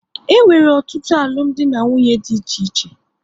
E nwere ọtụtụ alụmdi na nwunye dị iche iche